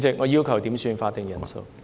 我要求點算法定人數。